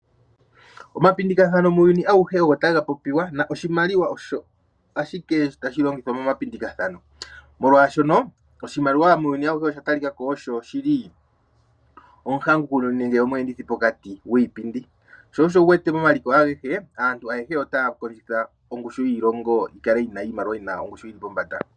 Omapindikathano muuyuni awuhe ogo taga popiwa, noshimaliwa osho ashike tashi longithwa momapindikathano, molwaashoka oshimaliwa muuyuni awuhe osha talikako osho shili omweendithi pokati gwiipindi. Sho osho wuwete momaliko agehe, aantu ayehe otaya kondjitha iilongo yokale yina ongushu yiimaliwa yili pombanda.